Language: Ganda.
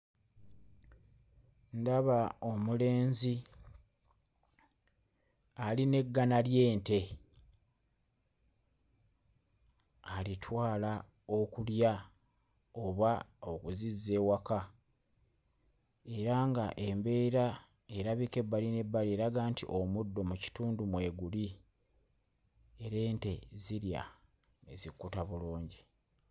Ndaba omulenzi ali n'eggana ly'ente alitwala okulya oba okuzizza ewaka era nga embeera erabika ebbali n'ebbali eraga nti omuddo mu kitundu mweguli era ente zirya ne zikkuta bulungi.